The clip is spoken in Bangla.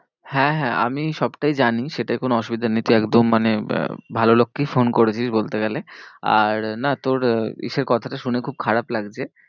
হ্যাঁ হ্যাঁ আমি সবটাই জানি সেটায় কোনো অসুবিধা নেই তুই একদম মানে আহ ভালো লোককেই phone করেছিস বলতে গেলে। আর না তোর ইসের কথাটা শুনে খুব খারাপ লাগছে।